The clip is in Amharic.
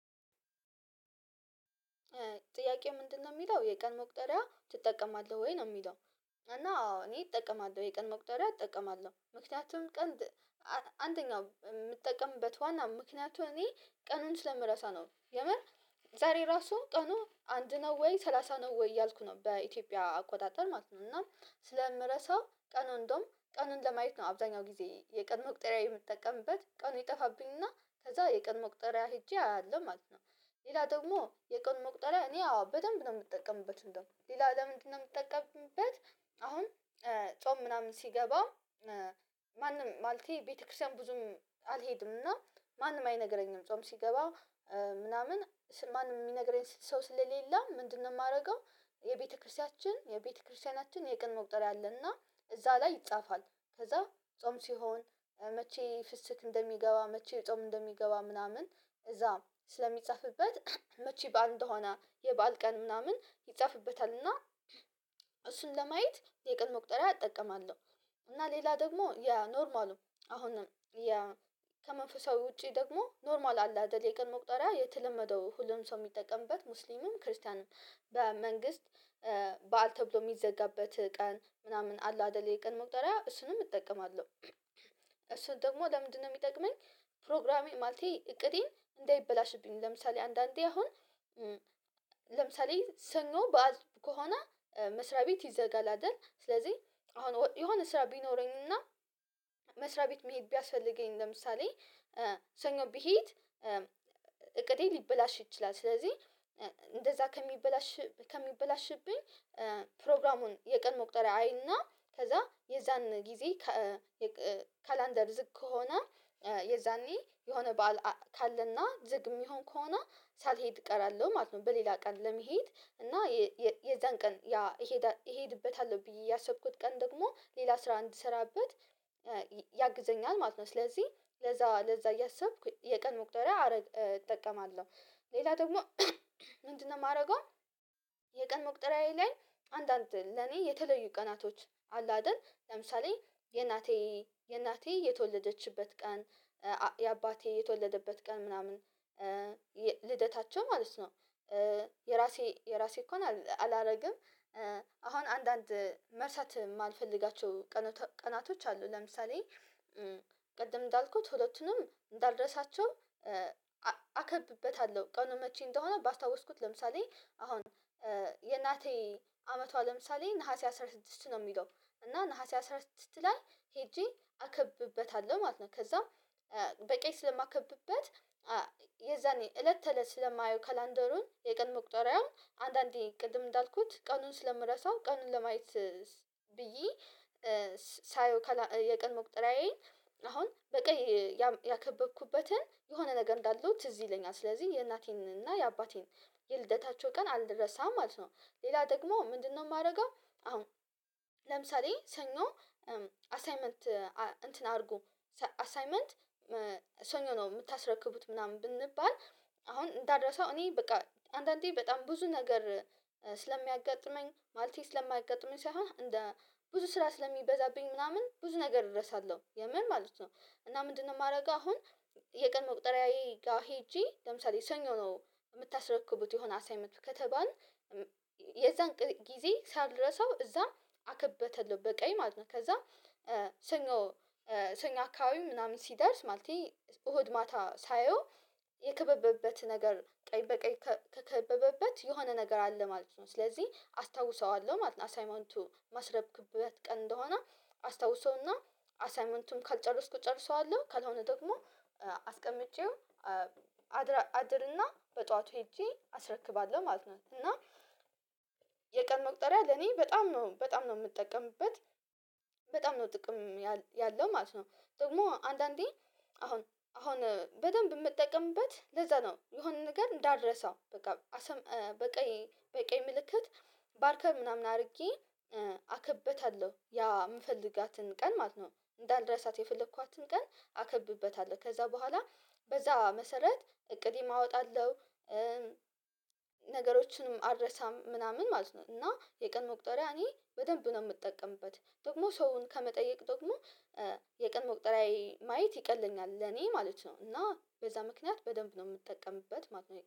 ጥያቄው ምንድነው የሚለው የቀን መቁጠሪያ ትጠቀማለህ ወይ ነው የሚለው? እና አዎ እኔ እጠቀማለሁ የቀን መቁጠሪያ እጠቀማለሁ። ምክንያቱም ቀን አንደኛው የምጠቀምበት ዋና ምክንያቱም እኔ ቀኑን ስለምረሳ ነው። የምር ዛሬ ራሱ ቀኑ አንድ ነው ወይ ሰላሳ ነው ወይ እያልኩ ነው በኢትዮጵያ አቆጣጠር ማለት ነው። እና ስለምረሳው ቀኑ እንደውም ቀኑን ለማየት ነው አብዛኛው ጊዜ የቀን መቁጠሪያ የምጠቀምበት ቀኑ ይጠፋብኝና ከዛ የቀን መቁጠሪያ ሄጄ አያለው ማለት ነው። ሌላ ደግሞ የቀኑ መቁጠሪያ እኔ አዎ በደንብ ነው የምጠቀምበት እንደው ሌላ ለምንድነው የምጠቀምበት? አሁን ጾም ምናምን ሲገባ ማንም ማለቴ ቤተክርስቲያን ብዙም አልሄድም እና ማንም አይነግረኝም ጾም ሲገባ ምናምን ማንም የሚነግረኝ ሰው ስለሌላ ምንድነው የማደርገው? የቤተክርስቲያችን የቤተክርስቲያናችን የቀን መቁጠሪያ አለና እዛ ላይ ይጻፋል ከዛ ጾም ሲሆን መቼ ፍስክ እንደሚገባ መቼ ጾም እንደሚገባ ምናምን እዛ ስለሚጻፍበት መቼ በአሌ እንደሆነ የበአል ቀን ምናምን ይጻፍበታልና እሱን ለማየት የቀን መቁጠሪያ እጠቀማለሁ። እና ሌላ ደግሞ የኖርማሉ አሁንም የ ከመንፈሳዊ ውጪ ደግሞ ኖርማል አለ አይደል የቀን መቁጠሪያ የተለመደው ሁሉም ሰው የሚጠቀምበት ሙስሊሙም ክርስቲያንም በመንግስት በዓል ተብሎ የሚዘጋበት ቀን ምናምን አለ አይደለ የቀን መቁጠሪያ እሱንም እጠቀማለሁ። ደግሞ ለምንድነው የሚጠቅመኝ? ፕሮግራሜ ማለቴ እቅዴን እንዳይበላሽብኝ ለምሳሌ አንዳንዴ አሁን ለምሳሌ ሰኞ ከሆነ መስሪያ ቤት ይዘጋል አደል ስለዚህ አሁን የሆነ ስራ ቢኖረኝና መስሪያ ቤት መሄድ ቢያስፈልገኝ ለምሳሌ ሰኞ ብሄድ እቅዴ ሊበላሽ ይችላል ስለዚህ እንደዛ ከሚበላሽ ከሚበላሽብኝ ፕሮግራሙን የቀን መቁጠሪያ አይና ከዛ የዛን ጊዜ ካላንደር ዝግ ከሆነ የዛኔ የሆነ በዓል ካለና ዝግ የሚሆን ከሆነ ሳልሄድ እቀራለሁ ማለት ነው። በሌላ ቀን ለመሄድ እና የዛን ቀን ያ እሄድበታለሁ ብዬ ያሰብኩት ቀን ደግሞ ሌላ ስራ እንዲሰራበት ያግዘኛል ማለት ነው። ስለዚህ ለዛ ለዛ እያሰብኩ የቀን መቁጠሪያ እጠቀማለሁ። ሌላ ደግሞ ምንድነው የማደርገው? የቀን መቁጠሪያዬ ላይ አንዳንድ ለኔ የተለዩ ቀናቶች አለ አይደል ለምሳሌ የእናቴ የእናቴ የተወለደችበት ቀን የአባቴ የተወለደበት ቀን ምናምን ልደታቸው ማለት ነው። የራሴ የራሴ እነኳ አላደርግም አሁን አንዳንድ መርሳት የማልፈልጋቸው ቀናቶች አሉ ለምሳሌ ቅድም እንዳልኩት ሁለቱንም እንዳልርሳቸው አከብበታለሁ ቀኑን መቼ እንደሆነ ባስታወስኩት ለምሳሌ አሁን የእናቴ አመቷ ለምሳሌ ነሀሴ አስራ ስድስት ነው የሚለው እና ነሀሴ አስራ ስድስት ላይ ሄጄ አከብበታለሁ ማለት ነው። ከዛ በቀይ ስለማከብበት የዛኔ እለት ተእለት ስለማየው ካላንደሩን የቀኑ መቁጠሪያውን አንዳንዴ ቅድም እንዳልኩት ቀኑን ስለምረሳው ቀኑን ለማየት ብዬ ሳየው የቀን መቁጠሪያዬን አሁን በቀይ ያከበብኩበትን የሆነ ነገር እንዳለው ትዝ ይለኛል ስለዚህ የእናቴንና የአባቴን የልደታቸው ቀን አልረሳም ማለት ነው። ሌላ ደግሞ ምንድነው የማደርገው? አሁን ለምሳሌ ሰኞ አሳይመንት እንትን አርጉ አሳይመንት ሰኞ ነው የምታስረክቡት ምናምን ብንባል አሁን እንዳረሳው እኔ በቃ አንዳንዴ በጣም ብዙ ነገር ስለሚያጋጥመኝ ማለቴ ስለማያጋጥመኝ ሳይሆን እንደ ብዙ ስራ ስለሚበዛብኝ ምናምን ብዙ ነገር እረሳለሁ የምር ማለት ነው። እና ምንድነው የማደርገው? አሁን የቀን መቁጠሪያዬ ጋር ሄጄ ለምሳሌ ሰኞ ነው የምታስረክቡት የሆነ አሳይመንት ከተባልን የዛን ጊዜ ሳልረሳው እዛም አከብበታለው በቀይ ማለት ነው። ከዛ ሰኞ ሰኞ አካባቢ ምናምን ሲደርስ ማለቴ እሁድ ማታ ሳየው የከበበበት ነገር ቀይ በቀይ ተ ከበበበት የሆነ ነገር አለ ማለት ነው ስለዚህ አስታውሰዋለሁ ማለት ነው። አሳይመንቱ ማስረክብበት ቀን እንደሆነ አስታውሰውና አሳይመንቱም ካልጨረስኩ እጨርሰዋለሁ ካልሆነ ደግሞ አስቀምጬው አድርና በጧቱ ሄጄ አስረክባለሁ ማለት ነው። እና የቀን መቅጠሪያ ለኔ በጣም ነው በጣም ነው የምጠቀምበት በጣም ነው ጥቅም ያለው ማለት ነው። ደግሞ አንዳንዴ አሁን አሁን በደንብ የምጠቀምበት ለዛ ነው የሆነ ነገር እንዳረሳው በቃ በቀይ በቀይ ምልክት ባርከር ምናምን አድርጌ አከበታለሁ ያ የምፈልጋትን ቀን ማለት ነው። እንዳልረሳት የፈለኳትን ቀን አከብበታለሁ ከዛ በኋላ በዛ መሰረት እቅዴም አወጣለሁ ነገሮችንም አረሳም ምናምን ማለት ነው። እና የቀን መቁጠሪያ እኔ በደንብ ነው የምጠቀምበት ደግሞ ሰውን ከመጠየቅ ደግሞ የቀን መቁጠሪያዬ ማየት ይቀለኛል ለኔ ማለት ነው። እና በዛ ምክንያት በደንብ ነው የምጠቀምበት ማለት ነው